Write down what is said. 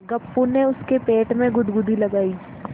गप्पू ने उसके पेट में गुदगुदी लगायी